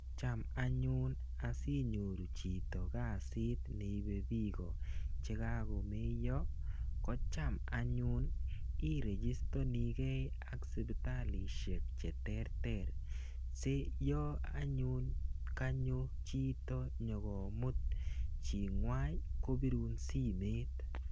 Cham anyun asinyoru chito kasit neibei biko chekakomeiyo ko cham anyun iregistonikei ak sipitalishek cheterter si yo anyun kanyo chito nyokomut chingwany kobirun simet.